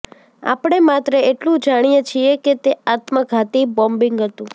આપણે માત્ર એટલું જાણીએ છીએ કે તે આત્મઘાતી બોમ્બિંગ હતું